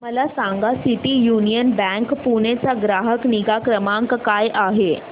मला सांगा City Union Bank Pune चा ग्राहक निगा क्रमांक काय आहे